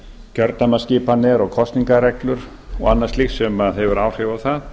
kjördæmaskipan er og kosningareglur og annað slíkt sem hefur áhrif á það